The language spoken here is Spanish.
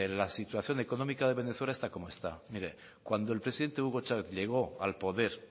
la situación económica de venezuela está como está mire cuando el presidente hugo chávez llegó al poder